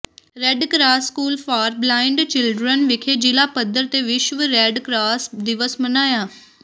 red cross school for blind children ਵਿਖੇ ਜਿਲ੍ਹਾ ਪੱਧਰ ਤੇ ਵਿਸ਼ਵ ਰੈਡ ਕਰਾਸ ਦਿਵਸ ਮਨਾਇਆ